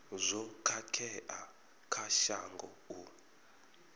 zwo khakhea kha shango u